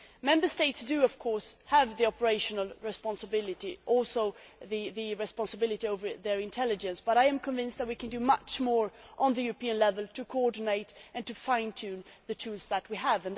Member States, of course, have the operational responsibility and the responsibility for their intelligence, but I am convinced that we can do much more at European level to coordinate and to fine tune the tools that we have.